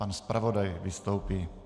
Pan zpravodaj vystoupí.